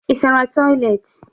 Ị sara toịletị?